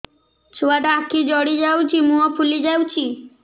ଛୁଆଟା ଆଖି ଜଡ଼ି ଯାଉଛି ମୁହଁ ଫୁଲି ଯାଉଛି